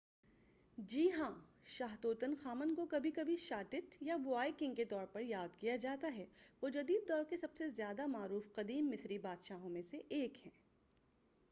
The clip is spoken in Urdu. جی ہاں شاہ توتن خامن کو کبھی کبھی شاہ ٹٹ یا بوائے کنگ کے طور پر یاد کیا جاتا ہے وہ جدید دور کے سب سے زیادہ معروف قدیم مصری بادشاہوں میں سے ایک ہیں